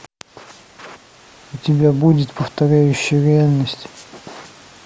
у тебя будет повторяющие реальность